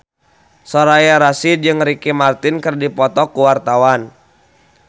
Soraya Rasyid jeung Ricky Martin keur dipoto ku wartawan